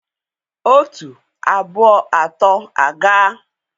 otu, abụọ, atọ aga!